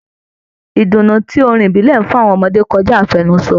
Ìdùnnú tí orin ìbílẹ̀ ń fún àwọn ọmọdé kọjá àfẹnusọ.